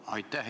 Aitäh!